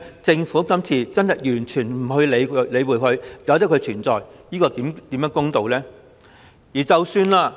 政府今次完全不加理會並讓這些嚴重不對等的情況繼續存在，怎算公道？